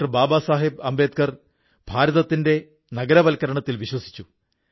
ബാബാ സാഹബ് അംബേദ്കർ ഭാരതത്തിന്റെ നഗരവത്കരണത്തിൽ വിശ്വസിച്ചു